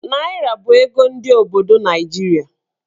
Naịra bụ ego ndị obodo Naijiria.